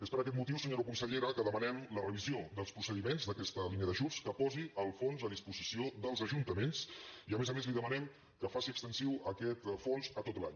és per aquest motiu senyora consellera que demanem la revisió dels procediments d’aquesta línia d’ajuts que posi el fons a disposició dels ajuntaments i a més a més li demanem que faci extensiu aquest fons a tot l’any